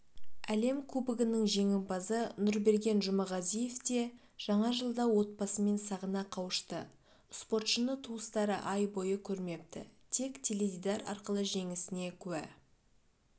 әлем кубогының жеңімпазы нұрберген жұмағазиев те жаңа жылда отбасымен сағына қауышты спортшыны туыстары ай бойы көрмепті тек теледидар арқылы жеңісіне куә